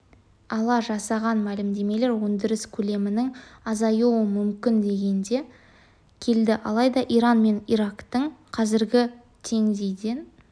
ала жасаған мәлімдемелері өндіріс көлемінің азюы мүмкін дегенге келді алайда иран мен ирактың қазіргі теңдейден